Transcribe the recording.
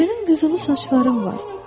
Sənin qızılı saçların var.